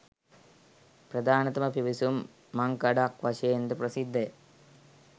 ප්‍රධානතම පිවිසුම් මංකඩක් වශයෙන් ද ප්‍රසිද්ධ ය